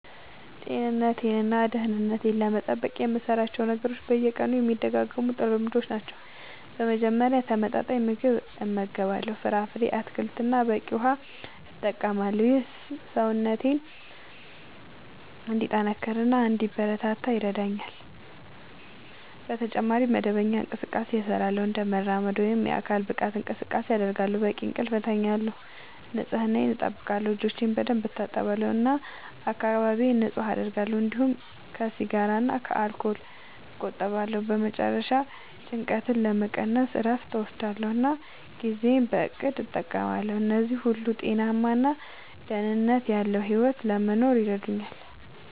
ጤንነቴን እና ደህንነቴን ለመጠበቅ የምሠራቸው ነገሮች በየቀኑ የሚደጋገሙ ጥሩ ልምዶች ናቸው። በመጀመሪያ ተመጣጣኝ ምግብ እመገባለሁ፣ ፍራፍሬ፣ አትክልት እና በቂ ውሃ እጠቀማለሁ። ይህ ሰውነቴን እንዲጠናከር እና እንዲበረታ ይረዳኛል። በተጨማሪ መደበኛ እንቅስቃሴ እሠራለሁ፣ እንደ መራመድ ወይም የአካል ብቃት እንቅስቃሴ አደርጋለሁ፣ በቂ እንቅልፍ እተኛለሁ፣ ንጽህናየን አጠብቃለሁ (እጆቼን በደንብ እታጠባለሁ እና አካባቢዬን ንጹህ አደርጋለሁ)፤እንዲሁም ከሲጋራ እና ከአልኮል እቆጠባለሁ። በመጨረሻ ጭንቀትን ለመቀነስ እረፍት እወስዳለሁ እና ጊዜዬን በእቅድ እጠቀማለሁ። እነዚህ ሁሉ ጤናማ እና ደህንነት ያለዉ ሕይወት ለመኖር ይረዳኛል።